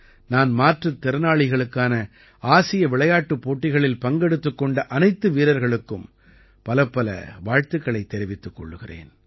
நான் மாற்றுத் திறனாளிகளுக்கான ஆசிய விளையாட்டுப் போட்டிகளில் பங்கெடுத்துக் கொண்ட அனைத்து வீரர்களுக்கும் பலப்பல வாழ்த்துக்களைத் தெரிவித்துக் கொள்கிறேன்